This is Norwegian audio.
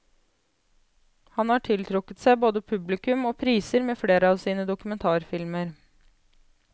Han har tiltrukket seg både publikum og priser med flere av sine dokumentarfilmer.